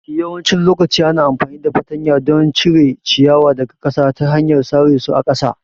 Yawancin lokaci ana amfani da fartanya don cire ciyawa daga ƙasa ta hanyar sare su a ƙasa